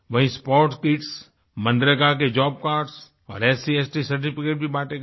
वहीँ sports kits MNREGA के job cards और SCST सर्टिफिकेट्स भी बांटे गए